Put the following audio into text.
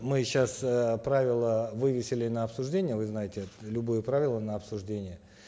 мы сейчас э правила вывесили на обсуждение вы знаете это любое правило на обсуждение